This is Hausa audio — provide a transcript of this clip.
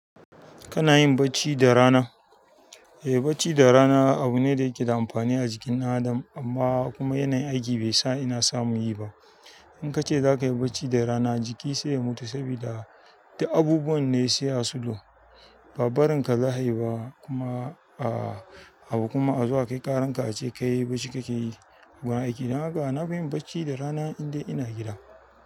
Kana yin bacci da rana? Eh, bacci da rana abu ne da yake da amfani a jikin adam amma kuma yanayin aiki bai sa ina samu yi ba. In ka ce za ka yi bacci da rana jiki sai ya mutu sabida duk abubuwan ne sai a slow. Ba barinka za a yi ba, kuma abu kuma a zo a kayanka a ce kai bacci kake yi. Gurin aiki don haka na fi yin bacci da rana in dai ina gida.